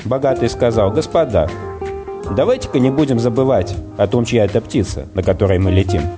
богатые сказал господа давайте ка не будем забывать о том что эта птица на которой мы летим